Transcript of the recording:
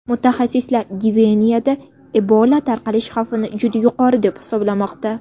Mutaxassislar Gvineyada Ebola tarqalish xavfini juda yuqori deb hisoblamoqda.